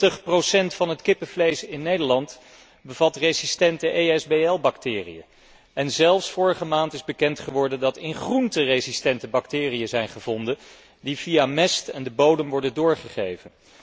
90 procent van het kippenvlees in Nederland bevat resistente ESBL bacteriën en vorige maand is zelfs bekend geworden dat in groenten resistente bacteriën zijn gevonden die via mest en de bodem worden doorgegeven.